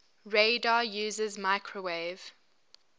radar uses microwave